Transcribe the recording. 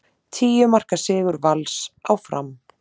Tíu marka sigur Vals á Fram